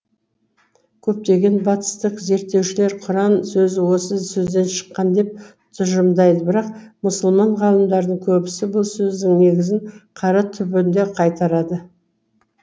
көптеген батыстық зерттеушілер құран сөзі осы сөзден шыққан деп тұжырымдайды бірақ мұсылман ғалымдардың көбісі бұл сөздің негізін қара түбіріне қайтарады